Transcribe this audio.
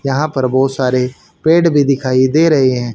यहां पर बहुत सारे पेड़ भी दिखाई दे रहे हैं।